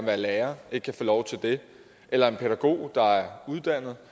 være lærer ikke kan få lov til det eller at en pædagog der er uddannet